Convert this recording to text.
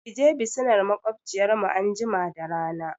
Kaje bisinar maƙwabciyar mu anjima da rana